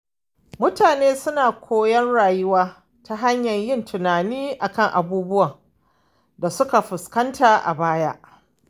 Mutane suna koyon rayuwa ta hanyar yin tunani kan abubuwan da suka fuskanta a baya.